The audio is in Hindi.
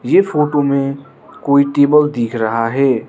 इस फोटो में कोई टेबल दिख रहा है।